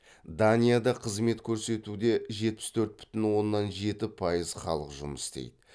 данияда қызмет көрсетуде жетпіс төрт бүтін оннан жеті пайыз халық жұмыс істейді